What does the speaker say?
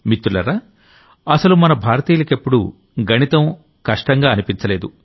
మిత్రులారా అసలు మన భారతీయులకెప్పుడూ గణితం అస్సలు కష్టంగా అనిపించలేదు